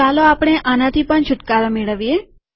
ચાલો આપણે આનાથી પણ છુટકારો મેળવીએ